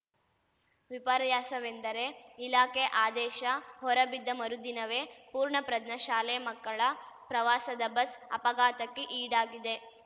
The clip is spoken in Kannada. ವಿಪರ್ಯಾಸವೆಂದರೆ ಇಲಾಖೆ ಆದೇಶ ಹೊರಬಿದ್ದ ಮರುದಿನವೇ ಪೂರ್ಣಪ್ರಜ್ಞ ಶಾಲೆ ಮಕ್ಕಳ ಪ್ರವಾಸದ ಬಸ್‌ ಅಪಘಾತಕ್ಕೆ ಈಡಾಗಿದೆ